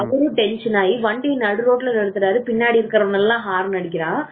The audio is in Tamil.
அவரும் tension ஆகி வண்டிய நடுரோட்டில் நிறுத்துராரு பின்னாடி இருக்கிறவங்க எல்லாம் ஹாரன் அடிக்கிறான் நிறுத்திட்டு